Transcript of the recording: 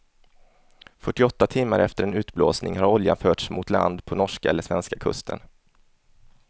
Fyrtioåtta timmar efter en utblåsning har oljan förts mot land på norska eller svenska kusten.